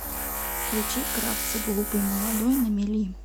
включи кравца глупый молодой на мели